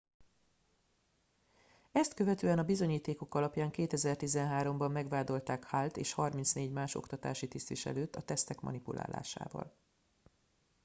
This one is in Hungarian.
ezt követően a bizonyítékok alapján 2013 ben megvádolták hallt és 34 más oktatási tisztviselőt a tesztek manipulálásával